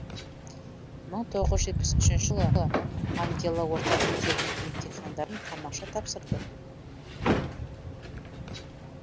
мың тоғыз жүз жетпіс үшінші жылы ангела орта мектебінің емтихандарын тамаша тапсырды